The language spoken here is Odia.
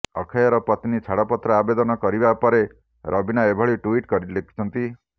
ଅକ୍ଷୟଙ୍କ ପତ୍ନୀ ଛାଡପତ୍ର ଆବେଦନ କରିବା ପରେ ରବିନା ଏଭଳି ଟ୍ୱିଟ୍ କରି ଲେଖିଛନ୍ତି